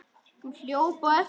Hún hljóp á eftir henni.